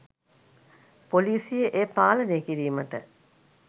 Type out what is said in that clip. පොලිසිය එය පාලනය කිරීමට